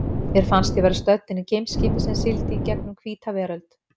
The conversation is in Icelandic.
Mér fannst ég vera stödd inni í geimskipi sem sigldi í gegnum hvíta veröld.